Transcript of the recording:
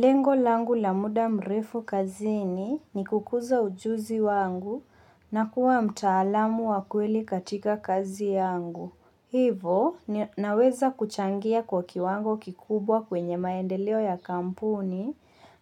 Lengo langu la muda mrefu kazini ni kukuza ujuzi wangu na kuwa mtaalamu wa kweli katika kazi yangu. Hivo naweza kuchangia kwa kiwango kikubwa kwenye maendeleo ya kampuni